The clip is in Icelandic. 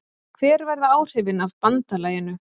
Hver verða áhrifin af BANDALAGINU?